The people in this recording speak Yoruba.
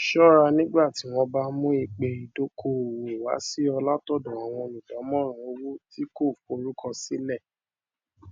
ṣọra nígbà tí wọn bá mú ìpè idokoowo wá sí ọ látọdọ àwọn olùdámọràn owó tí kò forúkọ sílẹ